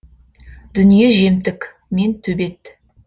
дүние жемтік мен төбет